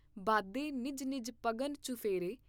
ਬਾਧੇ ਨਿਜ ਨਿਜ ਪਗਨ ਚੁਫੇਰੇ।